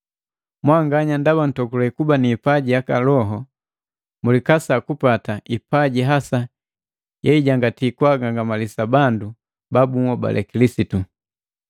Mwanganya ndaba ntokule kuba ni ipaji yaka loho, mulikasa kupata ipaji hasa yeijanganti kwaagangamalisa bandu ba bunhobale Kilisitu.